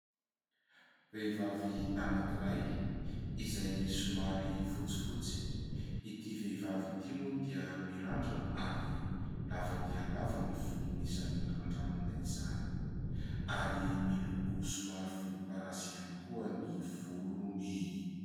Mehivavy anankiray izay somary fotsifotsy. Ity vehivavy ity moa dia mirandrana ary lava dia lava ny volony izany randranina izany, Ary miloko somary volomparasy ihany koa ny volony.